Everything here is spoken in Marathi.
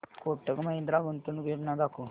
कोटक महिंद्रा गुंतवणूक योजना दाखव